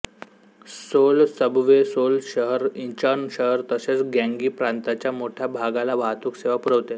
soul subway Seoul शहर Incheon शहर तसेच ग्याँगी प्रांताच्या मोठ्या भागाला वाहतूक सेवा पुरवते